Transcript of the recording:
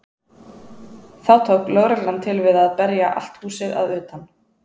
Þá tók lögreglan til við að berja allt húsið að utan.